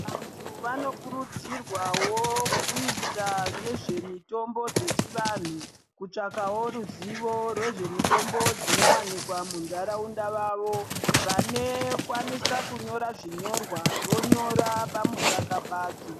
Antu anokurudzirwavo kuita nezvemitombo dzechivantu kutsvakavo ruzivo rwezvemitombo dzinovanikwa munharaunda vavo. Vanekwanisa kunyora zvinyorwa vonyora pamusaka padzo.